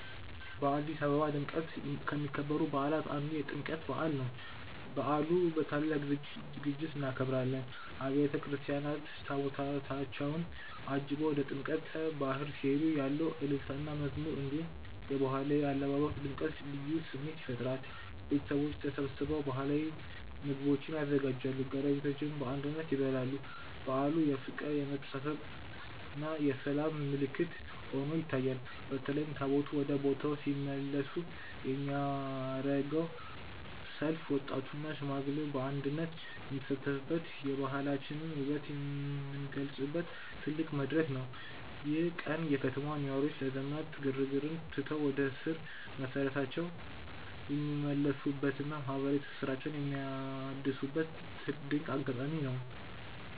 በአዲስ አበባ በድምቀት ከሚከበሩ በዓላት አንዱ የጥምቀት በዓል ነው። በዓሉን በታላቅ ዝግጅት እናከብራለን። አብያተ ክርስቲያናት ታቦታታቸውን አጅበው ወደ ጥምቀተ ባሕር ሲሄዱ ያለው እልልታና መዝሙር፣ እንዲሁም የባህላዊ አለባበስ ድምቀት ልዩ ስሜት ይፈጥራል። ቤተሰቦቻችን ተሰብስበው ባህላዊ ምግቦችን ያዘጋጃሉ፤ ጎረቤቶችም በአንድነት ይበላሉ። በዓሉ የፍቅር፣ የመተሳሰብና የሰላም ምልክት ሆኖ ይታያል። በተለይም ታቦታቱ ወደ ቦታው ሲመለሱ የሚደረገው ሰልፍ ወጣቱና ሽማግሌው በአንድነት የሚሳተፉበት፣ የባህላችንን ውበት የምንገልጽበት ትልቅ መድረክ ነው። ይህ ቀን የከተማዋ ነዋሪዎች የዘመናዊነት ግርግርን ትተው ወደ ስር መሰረታቸው የሚመለሱበትና ማህበራዊ ትስስራቸውን የሚያድሱበት ድንቅ አጋጣሚ ነው።